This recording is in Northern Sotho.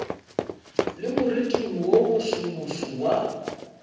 le moriting wo mosomoso wa